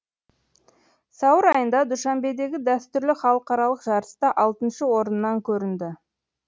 сәуір айында душанбедегі дәстүрлі халықаралық жарыста алтыншы орыннан көрінді